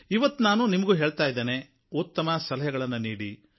ಇವತ್ತು ನಾನು ನಿಮಗೂ ಹೇಳ್ತಾ ಇದ್ದೇನೆ ಉತ್ತಮ ಸಲಹೆಗಳನ್ನು ನೀಡಿ